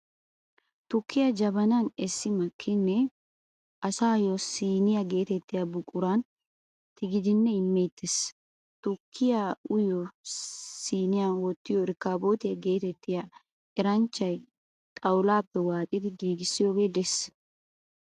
Tukkiyaa jabanan essi makkidinne asaayyo siniyaa geetettiyaa buquran tigidinne immeettes. Tukkiyaa uyiyoo siiniya wottiyo erekebootiyaa geetettiya, eranchchay xawulaappe waaxidi giigissiyogee de"ees.